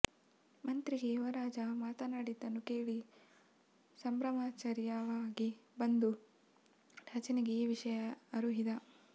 ಮಂತ್ರಿಗೆ ಯುವರಾಜ ಮಾತನಾಡಿದ್ದನ್ನು ಕೇಳಿ ಸಂಭ್ರಮಾಶ್ಚರ್ಯವಾಗಿ ಬಂದು ರಾಜನಿಗೆ ಈ ವಿಷಯ ಅರುಹಿದ